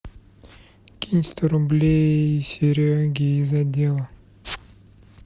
кинь сто рублей сереге из отдела